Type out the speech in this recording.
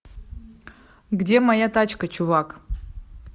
где моя тачка чувак